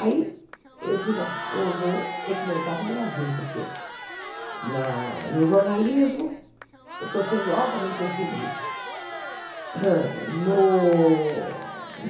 Aí eu disse, bom, eu vou ter que voltar para o Brasil, porque na no jornalismo eu estou sendo altamente perseguida. No